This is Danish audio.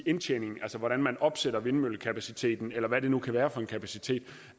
indtjening altså hvordan man opsætter vindmøllekapaciteten eller hvad det nu kan være for en kapacitet